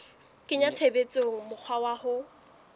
kenya tshebetsong mokgwa wa ho